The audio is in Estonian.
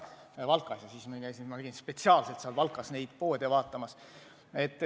Siis ma käisin spetsiaalselt seal Valkas neid poode vaatamas.